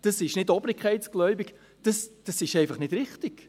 Das ist nicht obrigkeitsgläubig, das ist einfach nicht richtig!